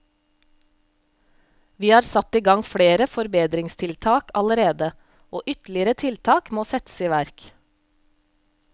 Vi har satt i gang flere forbedringstiltak allerede, og ytterligere tiltak må settes i verk.